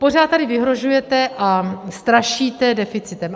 Pořád tady vyhrožujete a strašíte deficitem.